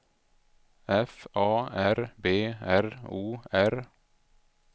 F A R B R O R